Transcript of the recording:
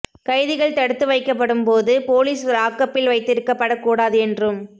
கைதிகள் தடுத்து வைக்கப்படும் போது போலீஸ் லாக்கப்பில் வைத்திருக்கப்படக் கூடாது என்றும்